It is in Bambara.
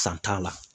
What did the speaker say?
San t'a la